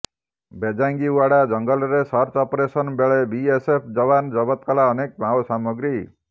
ବେଜାଙ୍ଗିଓ୍ବାଡା ଜଙ୍ଗଲରେ search operation ବେଳେ BSF ଯବାନ ଜବତ କଲା ଅନେକ ମାଓସାମଗ୍ରୀ